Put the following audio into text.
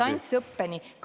... õigusest distantsõppeni.